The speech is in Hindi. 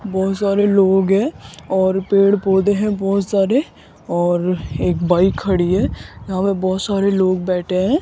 बहोत सारे लोग है और पेड़ पौधे है बहोत सारे और एक बाइक खड़ी है यहां पे बहोत सारे लोग बैठे हैं।